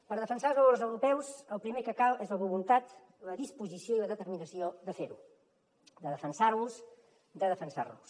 per defensar els valors europeus el primer que cal és la voluntat la disposició i la determinació de fer ho de defensar los de defensar nos